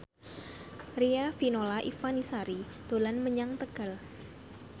Riafinola Ifani Sari dolan menyang Tegal